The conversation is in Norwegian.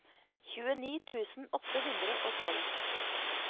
tjueni tusen åtte hundre og tolv